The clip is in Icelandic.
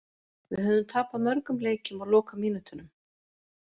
Við höfðum tapað mörgum leikjum á lokamínútunum.